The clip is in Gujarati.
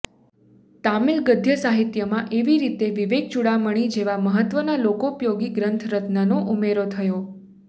તામિલ ગદ્યસાહિત્યમાં એવી રીતે વિવેકચૂડામણિ જેવા મહત્વના લોકોપયોગી ગ્રંથરત્નનો ઉમેરો થયો